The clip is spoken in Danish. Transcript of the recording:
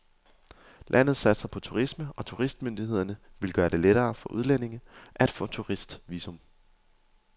Landet satser på turisme, og turistmyndighederne vil gøre det lettere for udlændinge at få turistvisum.